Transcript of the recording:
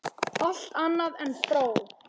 Allt annað en fró!